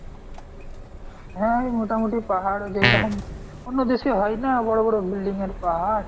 হা এই মোটামুটি পাহাড় যেইরকম অন্য দেশে হয়না বড় বড় building এর পাহাড়।